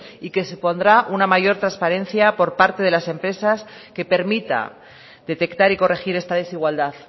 y que supondrá una mayor transparencia por parte de las empresas que permita detectar y corregir esta desigualdad